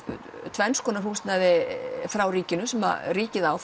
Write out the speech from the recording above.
tvenns konar húsnæði frá ríkinu sem ríkið á